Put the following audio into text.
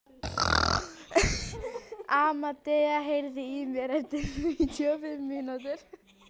Amadea, heyrðu í mér eftir níutíu og fimm mínútur.